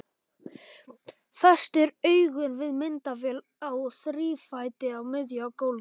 Festir augun við myndavél á þrífæti á miðju gólfi.